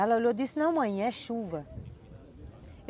Aí ela olhou e disse, não, mãe, é chuva.